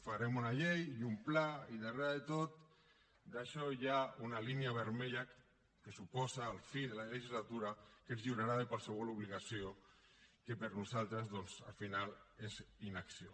farem una llei un pla i darrere de tot això hi ha una línia vermella que suposa la fi de la legislatura que ens lliurarà de qualsevol obligació que per nosaltres al final és inacció